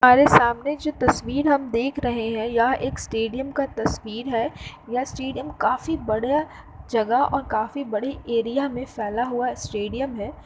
हमारे सामने जो तस्वीर हम देख रहे है। यह एक स्टेडियम का तस्वीर है। यह स्टेडियम काफी बड़ा जगह और काफी बड़ी एरिया में फैला हुआ स्टेडियम है।